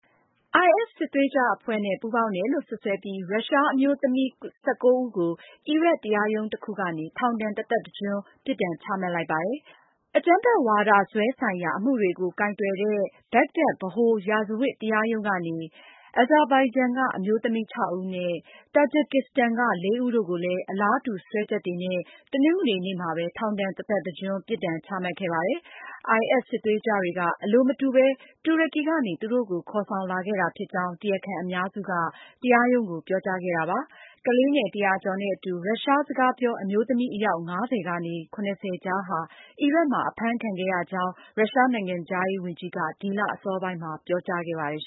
IS စစ်သွေးကြွအဖွဲ့နဲ့ ပူးပေါင်တယ်လို့ စွပ်စွဲပြီး ရုရှားအမျိုးသမီး ၁၉ ဦးကို အီရတ်တရားရုံးတခုကနေ ထောင်ဒဏ်တသက်တကျွန်း ပြစ်ဒဏ် ချမှတ်လိုက်ပါတယ်။ အကြမ်းဖက်ဝါဒစွဲဆိုင်ရာ အမှုတွေကို ကိုင်တွယ်တဲ့ ဘက်ဂဒက် ဗဟိုရာဇဝတ်တရားရုံးကနေ Azerbaijan က အမျိုးသမီး ၆ ဦးနဲ့ Tajikistan က ၄ ဦးတို့ကိုလည်း အလားတူစွဲချက်တွေနဲ့ တနင်္ဂနွေနေ့မှာပဲ ထောင်ဒဏ်တသက်တကျွန်း ပြစ်ဒဏ်ချမှတ်ခဲ့ပါတယ်။ IS စစ်သွေးကြွတွေက အလိုမတူပဲ တူရကီကနေ သူတို့ကို ခေါ်ဆောင်လာခဲ့တာ ဖြစ်ကြောင်း တရားခံအများစုက တရားရုံးကို ပြောကြားခဲ့တာပါ။ ကလေးငယ် တရာကျော်နဲ့ အတူ ရုရှားစကားပြော အမျိုးသမီး အယောက် ၅၀ ကနေ ၇၀ ကြားဟာ အီရတ်မှာ အဖမ်းခံခဲ့ရကြောင်း ရုရှားနိုင်ငံခြားရေးဝန်ကြီးက ဒီလအစောပိုင်းမှာ ပြောကြားခဲ့ပါတယ်။